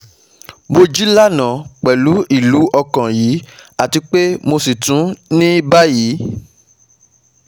Mo jí lánàá pẹ̀lú ilú ọkàn yìí àti pé mo sì tún ní báyìí